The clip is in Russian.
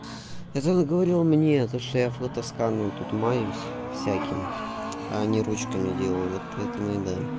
и тут он говорил мне то что я фотоскан ну тут маюсь всяким а не ручками делаю вот поэтому и да